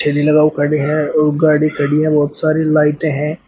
और गाड़ी खड़ी है बहोत सारे लाइटें हैं।